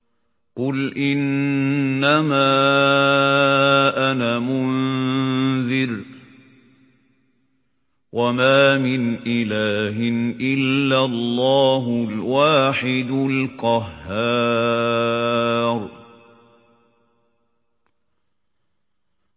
قُلْ إِنَّمَا أَنَا مُنذِرٌ ۖ وَمَا مِنْ إِلَٰهٍ إِلَّا اللَّهُ الْوَاحِدُ الْقَهَّارُ